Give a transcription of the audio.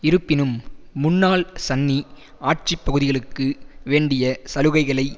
இருப்பினும் முன்னாள் சன்னி ஆட்சி பகுதிகளுக்கு வேண்டிய சலுகைகளை